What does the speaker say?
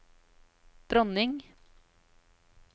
dronning